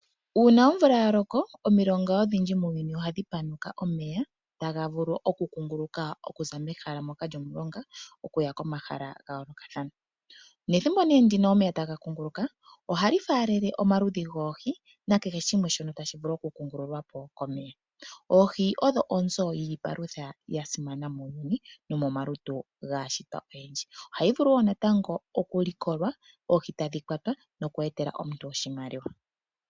Uuna oomvula ya loko, omilonga odhindji muuyuni ohadhi panuka omeya taga vulu oku kunguluka okuza mehala ndoka lyomulonga okuya komahala ga yoolokathana. Nethimbo nee ndino omeya taga kunguluka, ohashi faalele omaludhi goohi nakehe shimwe tashi vulu oku faalelwa komeya. Oohi odhi onzo yiipalutha ya simana muuyuni nomomalutu gaashitwa oyendji. Ohadhi vulu wo natango okulikolwa, oohi tadhi kwatwa noku etela omuntu oshimaliwa.